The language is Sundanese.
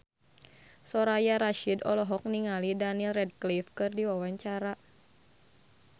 Soraya Rasyid olohok ningali Daniel Radcliffe keur diwawancara